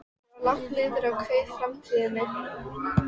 Ég var langt niðri og kveið framtíðinni.